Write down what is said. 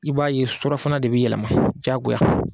I b'a ye surafana de bɛ yɛlɛma diyagoya